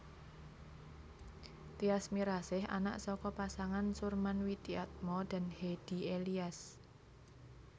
Tyas Mirasih anak saka pasangan Surman Widiatmo dan Hedy Elias